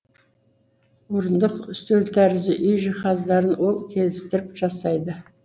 орындық үстел тәрізді үй жиһаздарын ол келістіріп жасайды